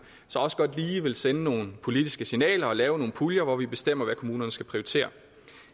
så også godt lige vil sende nogle politiske signaler og lave nogle puljer hvor vi bestemmer hvad kommunerne skal prioritere